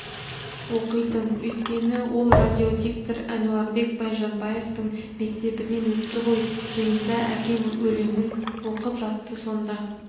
оқитын өйткені ол радиодиктор әнуарбек байжанбаевтың мектебінен өтті ғой жиында әкем өлеңін оқып жатты сонда